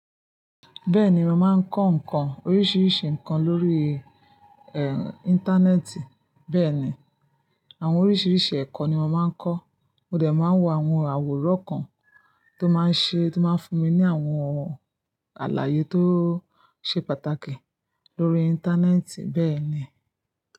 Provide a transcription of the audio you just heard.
Bẹ́ẹ̀ni, mo máa ń kọ́ nǹkan oríṣiríṣi nǹkan lórí, ẹ́, Íńtánẹ́ẹ̀tì. Bẹ́ẹ̀ni, àwọn oríṣiríṣi ẹ̀kọ́ ni mo máa ń kọ́. Mo dẹ̀ máa ń wo àwọn àwòrán kan tó máa ń ṣe, tó máa ń fún mi ní àwọn àlàyé tó ṣe pàtàkì lórí Íńtánẹ́ẹ̀tì bẹ́ẹ̀ ni.